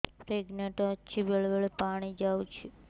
pregnant ଅଛି ବେଳେ ବେଳେ ପାଣି ଯାଉଛି